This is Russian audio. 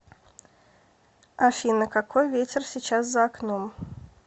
афина какой ветер сейчас за окном